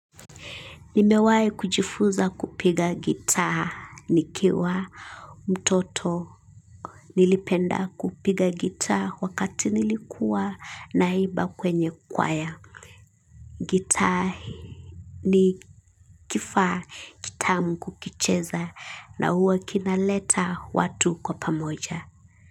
Nimewai kujifunza kupiga gitaa nikiwa mtoto nilipenda kupiga gitaa wakati nilikuwa naimba kwenye kwaya. Gitaa ni kifaa kitamu kukicheza na huwa kinaleta watu kwa pamoja.